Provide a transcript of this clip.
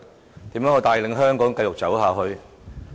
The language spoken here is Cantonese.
他要怎樣帶領香港繼續走下去？